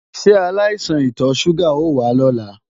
Ṣé aláìsàn ìtọ ṣúgà o wá lọ́la?